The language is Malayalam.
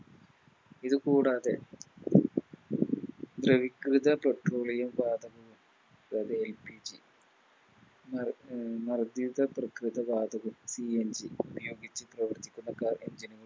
ഇതുകൂടാതെ ദ്രവികൃത Petroleum വാതക അതായത് LPG മ മർദ്ധീകൃത പ്രേകൃത വാതകം CNG ഉപയോഗിച്ച് പ്രവർത്തിക്കുന്ന Car engine നുകൾ